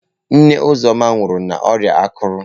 Nne Uzoma nwụrụ n'ọrịa akụrụ.